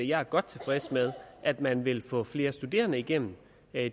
jeg er godt tilfreds med at man vil få flere studerende igennem